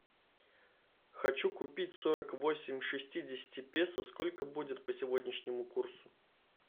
хочу купить сорок восемь шестидесяти песо сколько будет по сегодняшнему курсу